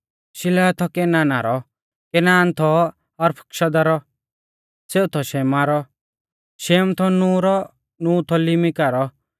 शिलह थौ केनाना रौ केनान थौ अरफक्षदा रौ सेऊ थौ शेमा रौ शेम थौ नूह रौ नूह थौ लिमिका रौ